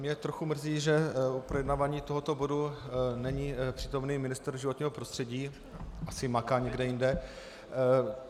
Mě trochu mrzí, že u projednávání tohoto bodu není přítomen ministr životního prostředí, asi maká někde jinde.